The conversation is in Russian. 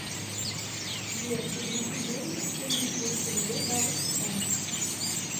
сбер переведи деньги в сумме четыреста рублей бабушке тане